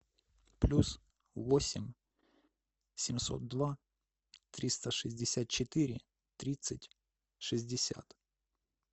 плюс восемь семьсот два триста шестьдесят четыре тридцать шестьдесят